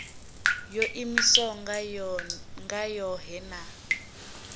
yo iimisaho nga yohe na